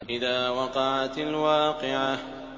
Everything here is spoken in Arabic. إِذَا وَقَعَتِ الْوَاقِعَةُ